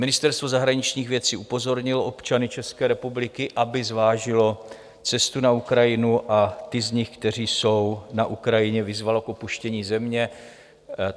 Ministerstvo zahraničních věcí upozornilo občany České republiky, aby zvážili cestu na Ukrajinu, a ty z nich, kteří jsou na Ukrajině, vyzvalo k opuštění země.